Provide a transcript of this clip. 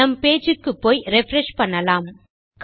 நம் பேஜ் க்குப்போய் ரிஃப்ரெஷ் செய்யலாம்